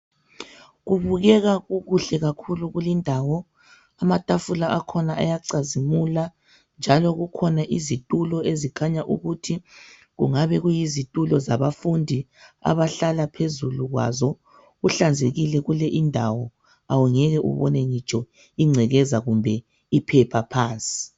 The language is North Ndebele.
Kubukeka kukuhle kakhulu kulindawo amatafula akhona ayacazimula njalo kukhona izitulo ezikhanya ukuthi kungabe kuyizitulo zabafundi abahlala phezulu kwazo kuhlanzekile kule indawo awungeke ubone ingcekeza kumbe iphepha phansi